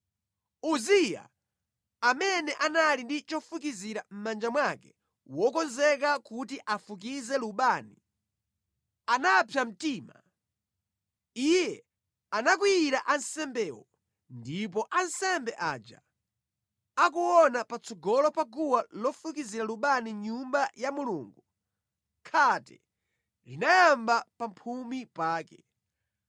Uziya, amene anali ndi chofukizira mʼmanja mwake wokonzeka kuti afukize lubani, anapsa mtima. Iye anakwiyira ansembewo. Ndipo ansembe aja akuona patsogolo pa guwa lofukizira lubani mʼNyumba ya Mulungu, khate linayamba pamphumi pake.